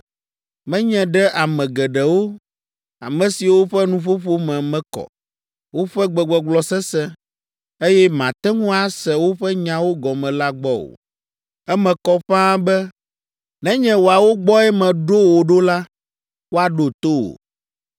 menye ɖe ame geɖewo, ame siwo ƒe nuƒoƒo me mekɔ, woƒe gbegbɔgblɔ sesẽ, eye màte ŋu ase woƒe nyawo gɔme la gbɔ o. Eme kɔ ƒãa be nenye woawo gbɔe meɖo wò ɖo la, woaɖo to wò.